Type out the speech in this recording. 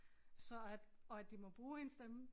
Så at og at de må bruge ens stemme